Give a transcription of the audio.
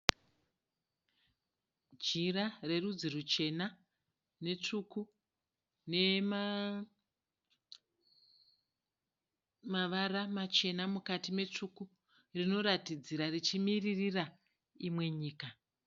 Jira rerudzi ruchena netsvuku nemavara machena mukati metsvuku. Rinoratidzira richimiririra imwe nyika.